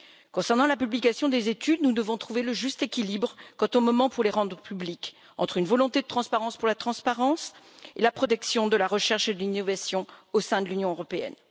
Concernant la publication des études, nous devons trouver le juste équilibre quant au moment pour les rendre publiques, entre une volonté de transparence pour la transparence et la protection de la recherche et de l'innovation au sein de l'Union européenne.